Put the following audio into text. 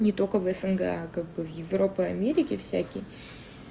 не только в снг а как бы в европа америки всякие